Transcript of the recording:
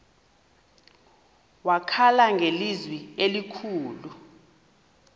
wakhala ngelizwi elikhulu